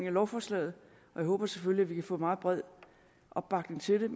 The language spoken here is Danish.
af lovforslaget og jeg håber selvfølgelig kan få meget bred opbakning til